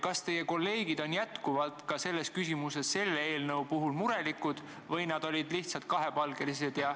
Kas teie kolleegid on selles küsimuses sellegi eelnõu puhul murelikud või nad on lihtsalt kahepalgelised?